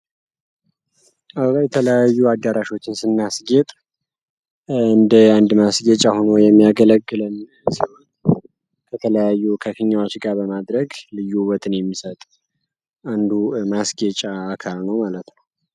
አበባ የተለያዩ አዳራሾች ስናስጌጥ እንደ አንድ ማስጌጫ ሁኖ የሚያገለግለን ሲሆን ከተለያዩ ከፊኛዎች ጋር በማድረግ ልዩ ውበትን የሚሰጥ አንዱ ማስጌጫ አካል ነው ማለት ነው።